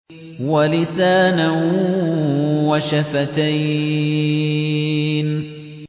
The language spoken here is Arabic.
وَلِسَانًا وَشَفَتَيْنِ